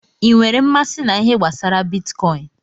I nwèrè mmasị na ihe gbasara bitkọin?